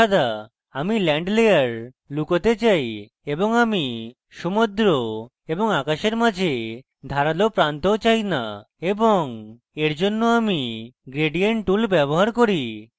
আমি land layer লুকোতে চাই এবং আমি সমুদ্র এবং আকাশের মাঝে ধারালো প্রান্তও চাই না এবং এরজন্য আমি gradient tool ব্যবহার করি